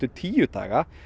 tíu daga